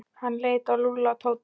Hann leit á Lúlla og Tóta.